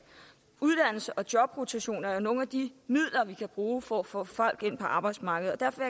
og jobrotation er jo nogle af de midler vi kan bruge for at få folk ind på arbejdsmarkedet derfor